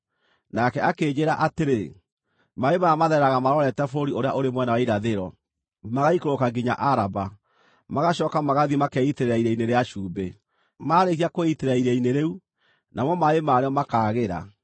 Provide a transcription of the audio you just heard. Nake akĩnjĩĩra atĩrĩ, “Maaĩ maya mathereraga marorete bũrũri ũrĩa ũrĩ mwena wa irathĩro, magaikũrũka nginya Araba, magacooka magathiĩ makeitĩrĩra Iria-inĩ rĩa Cumbĩ. Maarĩkia kwĩitĩrĩra iria-inĩ rĩu, namo maaĩ marĩo makaagĩra.